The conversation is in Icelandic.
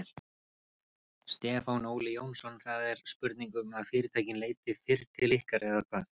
Stefán Óli Jónsson: Það er spurning um að fyrirtækin leiti fyrr til ykkar eða hvað?